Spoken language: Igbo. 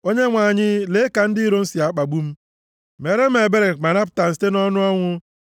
O Onyenwe anyị, lee ka ndị iro m si akpagbu m! Meere m ebere ma napụta m site nʼọnụ ọnwụ,